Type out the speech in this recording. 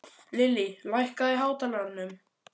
Lillý, lækkaðu í hátalaranum.